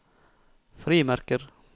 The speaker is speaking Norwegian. frimerker